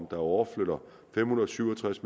overflytter fem hundrede og syv og tres